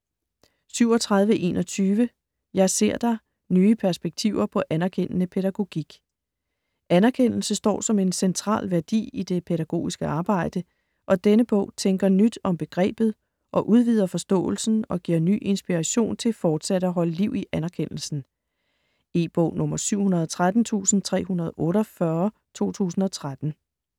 37.21 Jeg ser dig: nye perspektiver på anerkendende pædagogik Anerkendelse står som en central værdi i det pædagogiske arbejde, og denne bog tænker nyt om begrebet og udvider forståelsen og giver ny inspiration til fortsat at holde liv i anerkendelsen. E-bog 713348 2013.